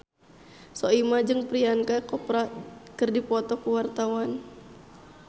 Soimah jeung Priyanka Chopra keur dipoto ku wartawan